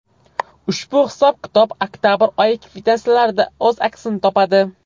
Ushbu hisob-kitob oktabr oyi kvitansiyalarida o‘z aksini topadi.